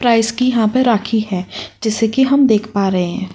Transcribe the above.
Price की यहाँ पे राखी है जैसा कि हम देख पा रहे हैं।